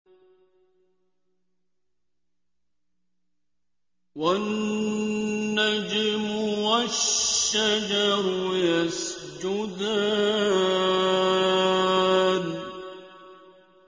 وَالنَّجْمُ وَالشَّجَرُ يَسْجُدَانِ